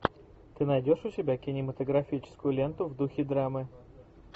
ты найдешь у себя кинематографическую ленту в духе драмы